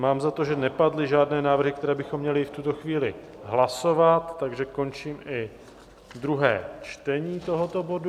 Mám za to, že nepadly žádné návrhy, které bychom měli v tuto chvíli hlasovat, takže končím i druhé čtení tohoto bodu.